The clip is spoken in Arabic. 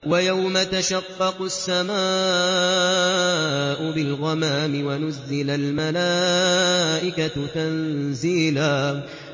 وَيَوْمَ تَشَقَّقُ السَّمَاءُ بِالْغَمَامِ وَنُزِّلَ الْمَلَائِكَةُ تَنزِيلًا